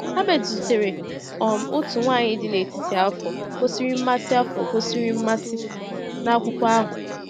Herbert zutere um otu nwaanyị dị n’etiti afọ gosiri mmasị afọ gosiri mmasị n’akwụkwọ ahụ.